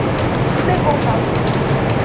Porque tudo é voltado para o vestibular.